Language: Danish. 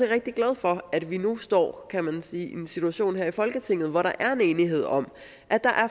rigtig glad for at vi nu står kan man sige i en situation her i folketinget hvor der er en enighed om at der